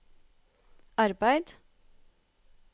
arbeid